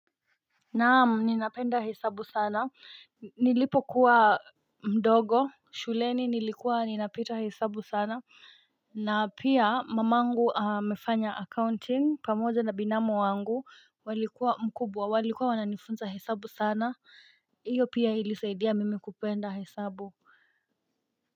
Naam ninapenda hesabu sana nilipokuwa mdogo shuleni nilikuwa ninapita hesabu sana na pia mamangu amefanya accounting pamoja na binamu wangu walikuwa mkubwa walikuwa wananifunza hesabu sana iyo pia ilisaidia mimi kupenda hesabu.